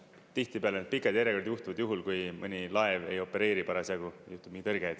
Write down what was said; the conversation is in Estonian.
Tihtipeale need pikad järjekorrad juhtuvad juhul, kui mõni laev ei opereeri parasjagu, juhtub mingi tõrge.